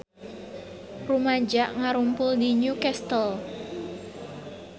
Rumaja ngarumpul di New Castle